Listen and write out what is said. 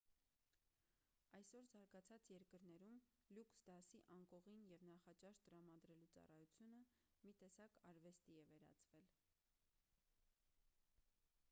այսօր զարգացած երկրներում լյուքս դասի անկողին և նախաճաշ տրամադրելու ծառայությունը մի տեսակ արվեստի է վերածվել